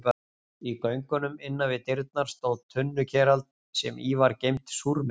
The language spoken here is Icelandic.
Í göngunum innan við dyrnar stóð tunnukerald sem í var geymt súrmeti.